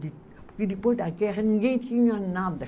Porque depois da guerra ninguém tinha nada.